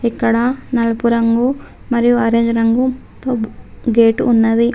ఇక్కడ నల్పు రంగు మరియు ఆరెంజ్ రంగు తో గేటు ఉన్నది.